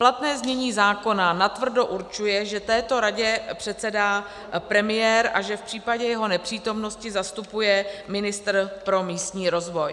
Platné znění zákona natvrdo určuje, že této radě předsedá premiér a že v případě jeho nepřítomnosti zastupuje ministr pro místní rozvoj.